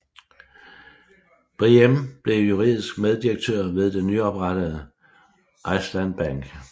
Briem blev juridisk meddirektør ved den nyoprettede Islands Bank